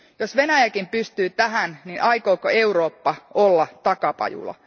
Jos Venäjäkin pystyy tähän, aikooko Eurooppa olla takapajula?